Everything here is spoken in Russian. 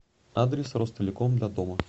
адрес ростелеком для дома